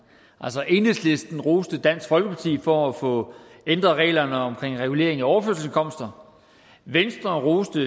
altså enhedslisten roste dansk folkeparti for at få ændret reglerne omkring regulering af overførselsindkomster venstre roste